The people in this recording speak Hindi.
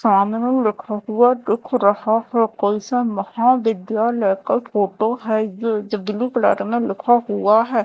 सामने लिखा हुआ दिख रहा है कैसन महाविद्यालय का फोटो है जो जो ब्लू कलर में लिखा हुआ है।